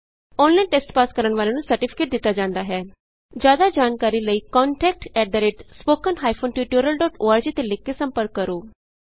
online test pass ਕਰਨ ਵਾਲਿਆਂ ਨੂੰ ਸਰਟੀਫਿਕੇਟ ਦਿਤਾ ਜਾਂਦਾ ਹੈ ਜਿਆਦਾ ਜਾਣਕਾਰੀ ਲਈ contact at spoken hyphen tutorial dot org ਤੇ ਲਿਖ ਕੇ ਸੰਪਰਕ ਕਰੋ